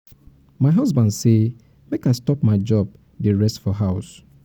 my husband say make i stop my job dey rest for house